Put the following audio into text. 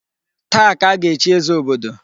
Taa ka a ga-echi eze obodo.